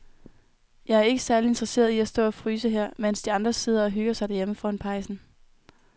Jeg er ikke særlig interesseret i at stå og fryse her, mens de andre sidder og hygger sig derhjemme foran pejsen.